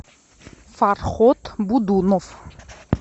фархот будунов